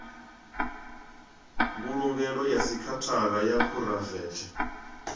mbulungelo ya sekhithara ya phuraivethe